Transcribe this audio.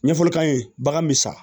Ɲɛfɔli k'an ye bagan bɛ sa